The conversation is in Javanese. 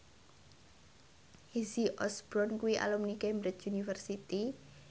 Izzy Osborne kuwi alumni Cambridge University